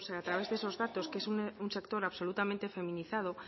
a través de esos datos que es un sector absolutamente feminizado